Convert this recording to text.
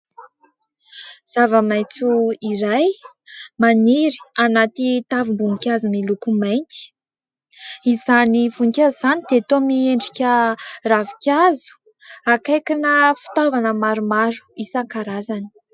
Zava-maitso iray, maniry anaty tavim-boninkazo miloko mainty. Izany voninkazo izany dia toa miendrika ravinkazo. Akaikina fitaovana maromaro isankarazany.